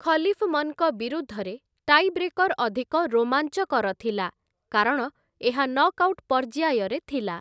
ଖଲିଫ୍‌ମନ୍‌ଙ୍କ ବିରୁଦ୍ଧରେ ଟାଇବ୍ରେକର୍‌ ଅଧିକ ରୋମାଞ୍ଚକର ଥିଲା, କାରଣ ଏହା ନକ୍‌ଆଉଟ୍ ପର୍ଯ୍ୟାୟରେ ଥିଲା ।